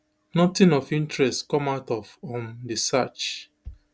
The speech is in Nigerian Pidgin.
nothing of interest come out of um di search